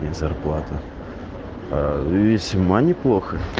зарплата весьма неплохо